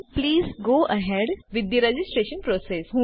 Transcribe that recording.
please go ahead with the registration process